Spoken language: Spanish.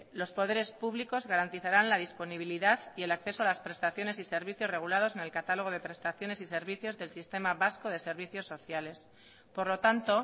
los poderes públicos garantizaran la disponibilidad y el acceso a las prestaciones y servicios regulados en el catálogo de prestaciones y servicios del sistema vasco de servicios sociales por lo tanto